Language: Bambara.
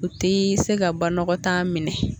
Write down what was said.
U ti se ka ba nɔgɔtan minɛ